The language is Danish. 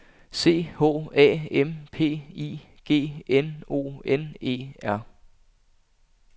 C H A M P I G N O N E R